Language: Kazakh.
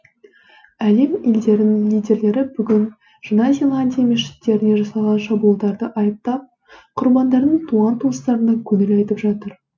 әлем елдерінің лидерлері бүгін жаңа зеландия мешіттеріне жасалған шабуылдарды айыптап құрбандардың туған туыстарына көңіл айтып жатыр